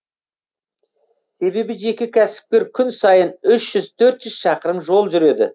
себебі жеке кәсіпкер күн сайын үш жүз төрт жүз шақырым жол жүреді